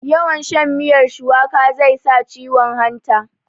yawn shan miyar shuwaka zai sa ciwon hanta